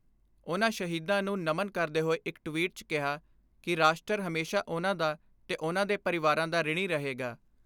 ਉਨ੍ਹਾਂ ਸ਼ਹੀਦਾਂ ਨੂੰ ਨਮਨ ਕਰਦੇ ਹੋਏ ਇਕ ਟਵੀਟ 'ਚ ਕਿਹਾ ਕਿ ਰਾਸ਼ਟਰ ਹਮੇਸ਼ਾ ਉਨ੍ਹਾਂ ਦਾ ਤੇ ਉਨ੍ਹਾਂ ਦੇ ਪਰਿਵਾਰਾਂ ਦਾ ਰਿਣੀ ਰਹੇਗਾ।